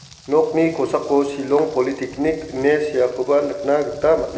nokni kosako shillong politeknik ine seakoba nikna gita man·a--